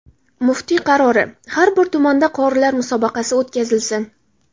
Muftiy qarori: har bir tumanda qorilar musobaqasi o‘tkazilsin!